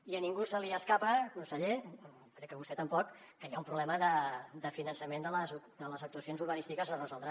i a ningú se li escapa conseller crec que a vostè tampoc que hi ha un problema de finançament de les actuacions urbanístiques a resoldre